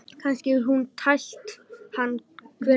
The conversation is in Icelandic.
Kannski hefur hún tælt hann, hver veit?